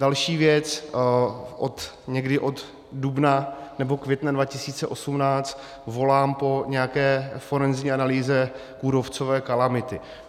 Další věc, někdy od dubna nebo května 2018 volám po nějaké forenzní analýze kůrovcové kalamity.